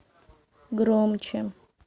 громче